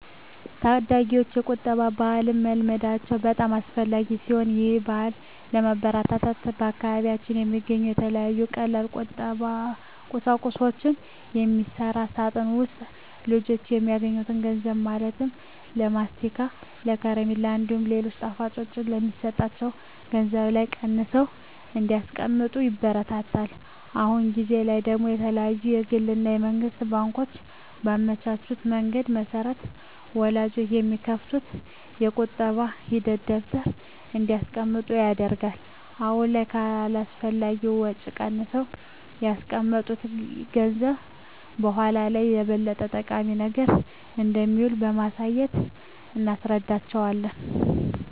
ታዳጊወች የቁጠባ ባህልን መልመዳቸው በጣም አስፈላጊ ሲሆን ይህን ባህልም ለማበረታታት በአካባቢያችን በሚገኙ ከተለያዩ ቀላል ቁሳቁሶች በሚሰራ ሳጥን ውስጥ ልጆች የሚያገኙትን ገንዘብ ማለትም ለማስቲካ፣ ከረሜላ እንዲሁም ሌሎች ጣፋጮች የሚሰጣቸው ገንዘብ ላይ ቀንሰው እንዲያስቀምጡ ይበረታታሉ። አሁን ጊዜ ላይ ደግሞ የተለያዩ የግል እና የመንግስት ባንኮች ባመቻቹት መንገድ መሰረት ወላጆች በሚከፍቱት የቁጠባ ሂሳብ ደብተር እንዲያስቀምጡ ይደረጋል። አሁን ላይ ከአላስፈላጊ ወጪ ቀንሰው ያስቀመጡት ገንዘብ በኃላ ላይ ለበለጠ ጠቃሚ ነገር እንደሚውል በማሳየት እናስረዳቸዋለን።